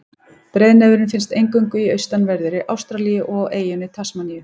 Breiðnefurinn finnst eingöngu í austanverðri Ástralíu og á eyjunni Tasmaníu.